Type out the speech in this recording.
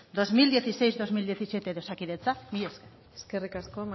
bi mila hamasei bi mila hamazazpi de osakidetza mila esker eskerrik asko